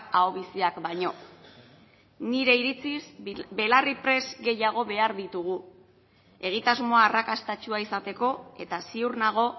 ahobiziak baino nire iritziz belarriprest gehiago behar ditugu egitasmo arrakastatsua izateko eta ziur nago